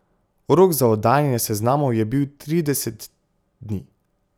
Rok za oddajanje seznamov je bil trideset dni.